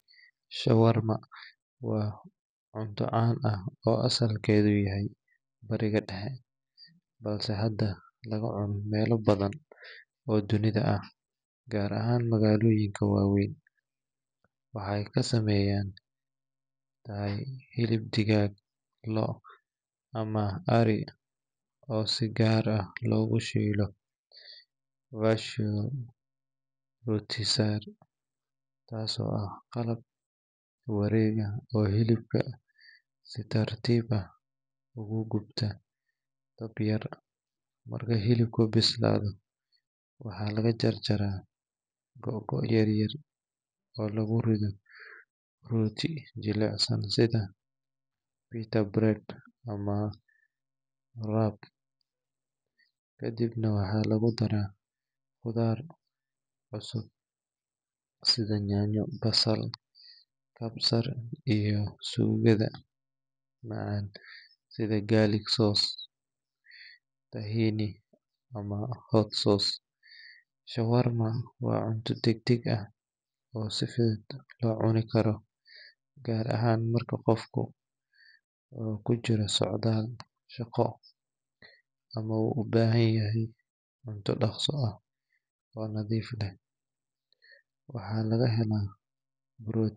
Shawarma was cunto caan ah oo asalkeeda yahay bariga dexe, balse hada laga cuno meela badan oo dunida ah, gaar ahaan magaaloyinka waweyn, waxeey kasameyan hilib digaag, loo ama ari oo si gaar ah loogu shiilo, taas oo ah qalab wareega oo hilibka si tartiib ah oogu gubta, dab yar marka hilibka bislaado waxaa laga jaraa gogoyo yaryar oo lagu rido rooti jelecsan, kadibna waxaa lagu daraa qudaar sida nyanya, shawarma waa cunto si fudud loo cuni karo, waxaa laga helaa protein.